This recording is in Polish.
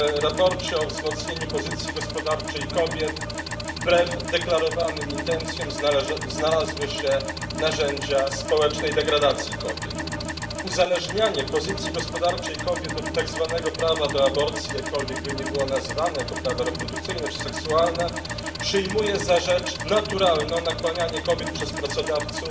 W sprawozdaniu o wzmocnieniu pozycji gospodarczej kobiet wbrew deklarowanym intencjom znalazły się narzędzia społecznej degradacji kobiet. Uzależnianie pozycji gospodarczej kobiet od tzw. prawa do aborcji jakkolwiek by nie było nazywane jako prawa reprodukcyjne czy seksualne przyjmuje za rzecz naturalną nakłanianie kobiet przez pracodawców